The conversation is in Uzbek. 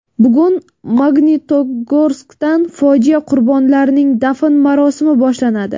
Bugun Magnitogorskda fojia qurbonlarning dafn marosimi boshlanadi.